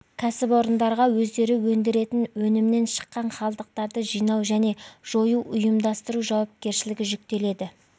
кәсіпорындарға өздері өндіретін өнімнен шыққан қалдықтарды жинау және жоюды ұйымдастыру жауапкершілігі жүктеледі